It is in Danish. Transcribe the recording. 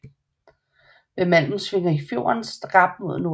Ved Malm svinger fjorden skarpt mod nordøst